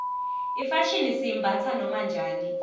ifashini siyimbatsa noma njani